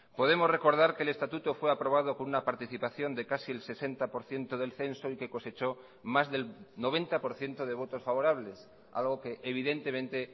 podemos recordar que el estatuto fue aprobado con una participación de casi el sesenta por ciento del censo y que cosechó más del noventa por ciento de votos favorables algo que evidentemente